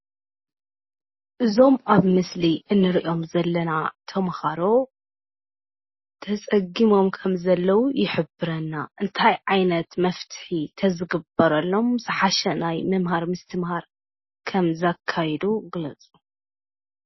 እዞም ኣብ ምስሊ እንሪኦም ዘለና ተምሃሮ ተፀጊሞም ከም ዘለዉ ይሕብረና። እንታይ ዓይነት መፍትሒ ተዝግበረሎም ዝሓሸ ናይ ምምሃር ምስትምሃር ከምዘካይዱ ግለፁ?